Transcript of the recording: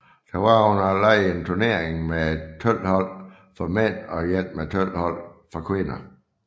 Der var under legene en turnering med 12 hold for mænd og en med 12 hold for kvinder